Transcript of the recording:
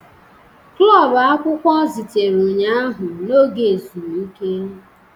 Klọb akwụkwọ zutere ụnyaahụ n'oge ezumike.